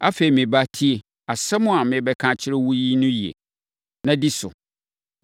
Afei, me ba, tie asɛm a merebɛka akyerɛ wo yi yie, na di so.